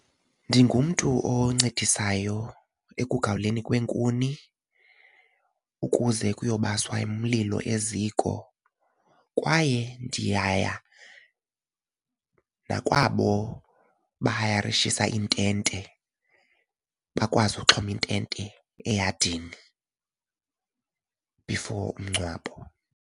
Ndingumntu oncedisayo ekugawulweni kweenkuni ukuze kuyobaswa umlilo eziko kwaye ndiyaya nakwabo bahayarishisa iintente bakwazi ukuxhoma intente eyadini before umngcwabo.